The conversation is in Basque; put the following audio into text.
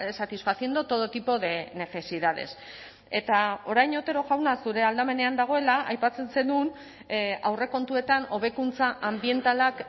satisfaciendo todo tipo de necesidades eta orain otero jauna zure aldamenean dagoela aipatzen zenuen aurrekontuetan hobekuntza anbientalak